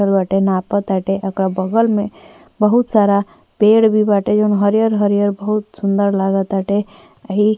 ताटे नापताटे ओकरा बगल में बहुत सारा बहुत सारा पेड़ भी बाटे जौन हरियर हरियर बहुत सुन्दर लागताटे आ ई --